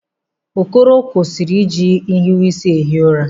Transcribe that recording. Okoro, kwụsị ịji nhiweisi ehi ụra!